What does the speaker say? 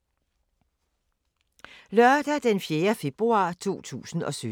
Lørdag d. 4. februar 2017